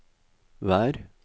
vær